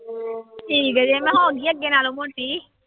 ਠੀਕ ਜੇ ਮੈਂ ਹੋ ਗਈ ਆਂ ਅੱਗੇ ਨਾਲੋਂ ਮੋਟੀ।